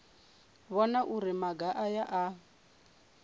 vhona uri maga aya a